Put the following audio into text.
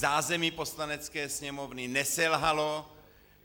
Zázemí Poslanecké sněmovny neselhalo.